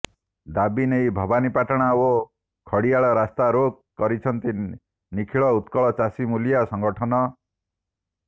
ଦାବି ନେଇ ଭବାନିପାଟଣା ଓ ଖଡ଼ିଆଳ ରାସ୍ତା ରୋକ କରିଛନ୍ତି ନିଖିଳ ଉତ୍କଳ ଚାଷୀ ମୂଲିଆ ସଙ୍ଗଠନ